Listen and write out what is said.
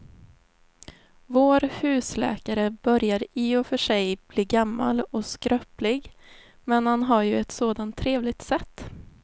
Vår husläkare börjar i och för sig bli gammal och skröplig, men han har ju ett sådant trevligt sätt!